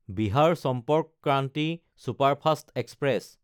Bihar Sampark Kranti superfast express